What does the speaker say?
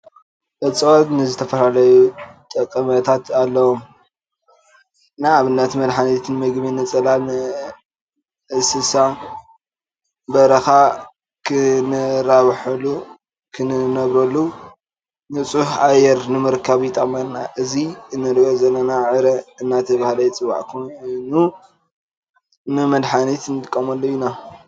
እፅዋት ንዝተፈላለዩ ጠቅምታት ኣለዎም ንኣብነት፦ መድሓኒት፣ ንምግቢ፣ ንፅላል፣ ንእስሳ በረካ ክራበሓሉ ክነብራሉ ፣ ንፁህ ኣየር ንምርካብ ይጠቅምና ። ኣብዚ እንረኦ ዘለና ዕረ እንዳተባሀለ ዝፀዋዕ ኮይኑ ንመድሓት ንጥቀመሉ ኢና።